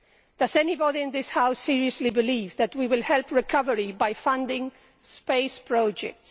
Does anybody in this House seriously believe that we will help recovery by funding space projects?